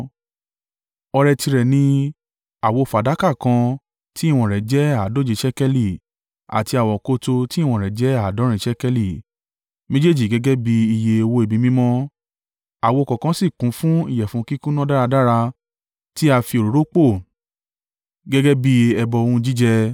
Ọrẹ tirẹ̀ ni: àwo fàdákà kan tí ìwọ̀n rẹ̀ jẹ́ àádóje ṣékélì àti àwokòtò tí ìwọ̀n rẹ̀ jẹ́ àádọ́rin ṣékélì, méjèèjì gẹ́gẹ́ bí iye owó ibi mímọ́, àwo kọ̀ọ̀kan sì kún fún ìyẹ̀fun kíkúnná dáradára tí á fi òróró pò gẹ́gẹ́ bí ẹbọ ohun jíjẹ;